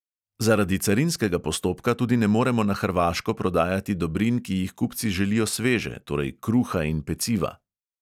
Zaradi carinskega postopka tudi ne moremo na hrvaško prodajati dobrin, ki jih kupci želijo sveže, torej kruha in peciva.